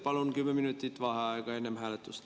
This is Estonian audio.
Palun 10 minutit vaheaega enne hääletust.